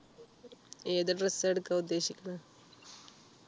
ഏത് dress ആ എടുക്കാൻ ഉദ്ദേശിക്കുന്നത്